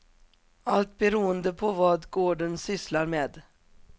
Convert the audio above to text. Allt beroende på vad gården sysslar med.